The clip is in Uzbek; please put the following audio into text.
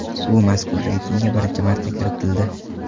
U mazkur reytingga birinchi marta kiritildi.